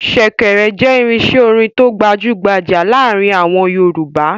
Ṣẹ̀kẹ̀rẹ̀ jẹ́ irinṣẹ́ orin tó gbajú-gbajà láàárin àwọn Yorùbá.